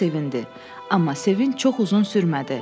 Hamı sevindi, amma sevinç çox uzun sürmədi.